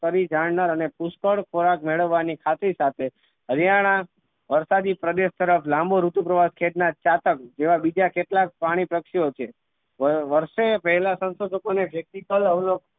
કરી જાણનાર અને પુષ્કળ ખોરાક મેળવાની ખાતરી સાથે હરિયાણા વરસાદી પ્રદેશ તરફ લાંબુ ઋતુ પ્રવાહ ખેચનાર ચાતક જેવા બીજા કેટલાક પ્રાણી પક્ષીઓ છે વર્ષે પેહલા સંશોધકો ને જેટલી